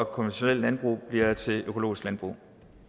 konventionelle landbrug bliver til økologisk landbrug